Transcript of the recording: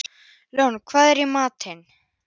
Lóni, hvað er í matinn?